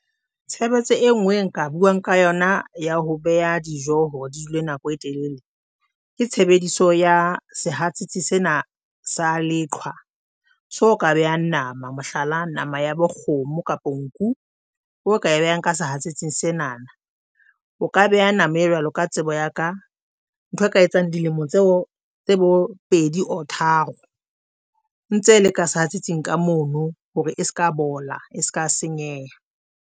Tshebetso e nngwe nka buang ka yona ya ho beha dijo hore di dule nako e telele. Ke tshebediso ya sehatsetsi sena sa leqhwa. So ka behang nama, mohlala nama ya bo kgomo kapa nku o ka behang ka sehatsetsing sena. O ka beha nama ena jwalo ka tsebo ya ka. Ntho e ka etsang dilemo tseo tse bo pedi or tharo ntse le ka sehatsetsing ka mono hore e se ka bola e se ka senyeha.